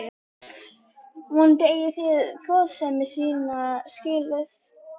Vonandi eigið þið góðsemi mína skilið.